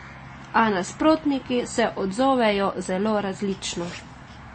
A nasprotniki se odzovejo zelo različno.